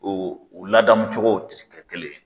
O o ladamucogow ri kɛ kelen ye